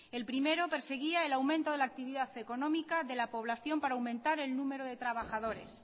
el primero perseguía el aumento de la actividad económica de la población para aumentar el número de trabajadores